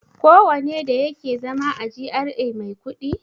Kowane da yake zama a GRA mai kuɗi?